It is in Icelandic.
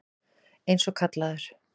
Eins og kallaður.